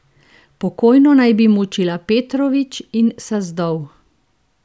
Pokojno naj bi mučila Petrović in Sazdov.